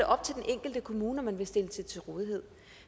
op til den enkelte kommune om man vil stille det til rådighed